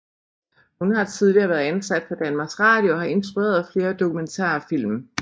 Hun har tidligere været ansat på Danmarks Radio og har instrueret flere dokumentarfilm